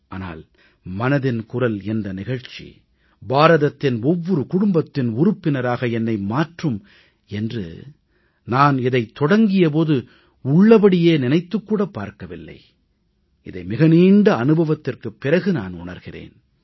ஆனால் மனதின் குரல் என்ற நிகழ்ச்சி பாரதத்தின் ஒவ்வொரு குடும்பத்தின் உறுப்பினராக என்னை மாற்றும் என்று நான் இதைத் தொடங்கிய போது உள்ளபடி நினைத்துக் கூட பார்க்கவில்லை இதை மிக நீண்ட அனுபவத்திற்குப் பிறகு நான் உணர்கிறேன்